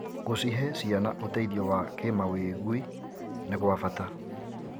Gũcihe ciana ũteithio wa kĩmawĩgwi nĩ gwa bata.